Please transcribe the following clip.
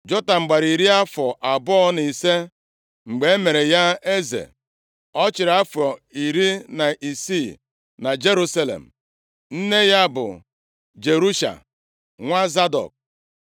Jotam gbara iri afọ abụọ na ise mgbe e mere ya eze. Ọ chịrị afọ iri na isii na Jerusalem. Nne ya bụ Jerusha nwa Zadọk.